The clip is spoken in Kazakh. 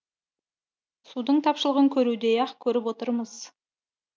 судың тапшылығын көрудей ақ көріп отырмыз